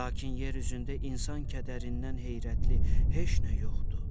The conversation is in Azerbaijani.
Lakin yer üzündə insan kədərindən heyrətli heç nə yoxdur.